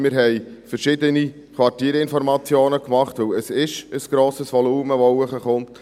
Wir haben verschiedene Quartierinformationen gemacht, weil es ein grosses Volumen ist, das nach oben kommt.